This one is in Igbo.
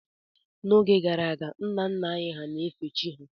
N'oge gara aga, nna nna anyị hà na-efe chi ha